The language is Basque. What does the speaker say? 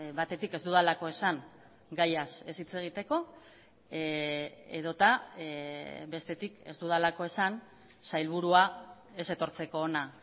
batetik ez dudalako esan gaiaz ez hitz egiteko edota bestetik ez dudalako esan sailburua ez etortzeko ona